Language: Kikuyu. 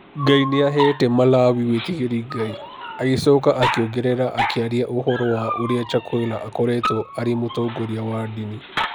"Ngai nĩaheete Malawi wĩtigĩri Ngai", agĩcoka akĩongerera, akĩaria ũhoro wa ũrĩa Chakwera akoretwo arĩ mũtongoria wa ndini.